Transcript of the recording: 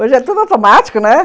Hoje é tudo automático, né?